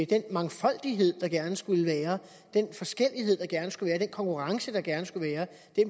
den mangfoldighed der gerne skulle være den forskellighed der gerne skulle være den konkurrence der gerne skulle være